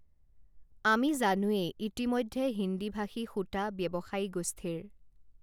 আমি জানোৱেই ইতিমধ্যে হিন্দীভাষী সূতা ব্যৱসায়ীগোষ্ঠীৰ